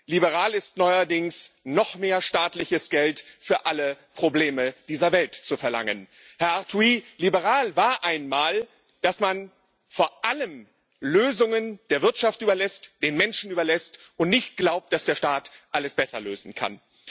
Liberal ist neuerdings, noch mehr staatliches Geld für alle Probleme dieser Welt zu verlangen. Herr Arthuis, liberal war einmal, dass man vor allem Lösungen der Wirtschaft überlässt, den Menschen überlässt und nicht glaubt, dass der Staat alles besser lösen kann.